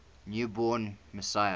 new born messiah